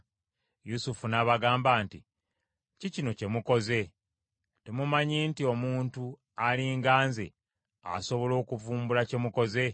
Yusufu n’abagamba nti, “Kiki kino kye mukoze? Temumanyi nti omuntu ali nga nze asobola okuvumbula kye mukoze?”